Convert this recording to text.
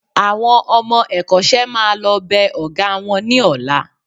Àwọn ọmọ ẹ̀kọ́ṣẹ́ máa lọ bẹ Ọ̀gá wọn ní ọ̀la